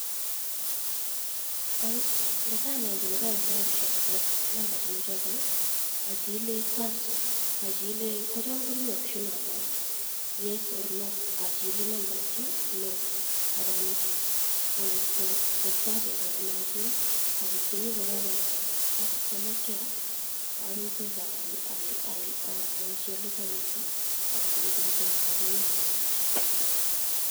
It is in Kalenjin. Ng'otanai olee koyokte rabishek kobaa namba chemochotok ochile cancel ochile kocham komii option nombo yes or no ochile number two no anan ko ng'ot ko achelewan achil obirchini kap customakeakab mpesa ak omwochi olekowendito ak olenchi kotoreton kowekwon rabishek.